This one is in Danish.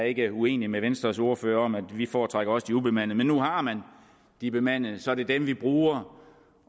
ikke uenig med venstres ordfører vi foretrækker også de ubemandede men nu har man de bemandede og så er det dem vi bruger